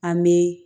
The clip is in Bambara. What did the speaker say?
An bɛ